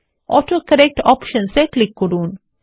autocorrect options এ click করুন